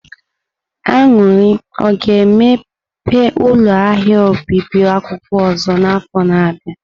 Aṅụri o ga-emepe ụlọ ahịa obibi akwụkwọ ọzọ n'afọ na-abịa?